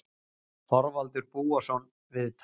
Þorvaldur Búason, viðtal